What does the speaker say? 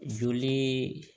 Joli